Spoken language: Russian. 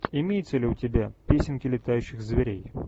имеется ли у тебя песенки летающих зверей